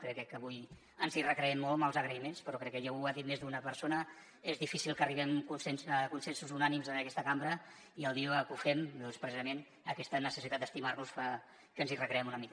crec que avui ens hi recreem molt en els agraïments però crec que ja ho ha dit més d’una persona és difícil que arribem a consensos unànimes en aquesta cambra i el dia que ho fem doncs precisament aquesta necessitat d’estimar nos fa que ens hi recreem una mica